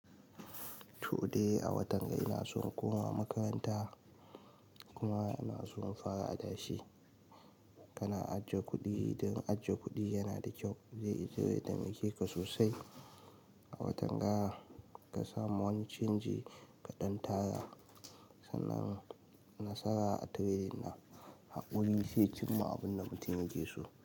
Toh de a watan ga ina so in koma makaranta kuma ina so in fara adashe. Kana ajiye kuɗi? Don ajiye kuɗi yana da kyau, zai zo ya taimake ka sosai. A watan ga ka samu wani canji kaɗan tara sannan nasara a tire na haƙuri shi ya cimma abun da mutum yake so.